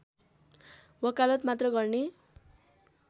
वकालत मात्र गर्ने